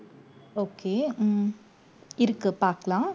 okay உம் இருக்கு பார்க்கலாம்.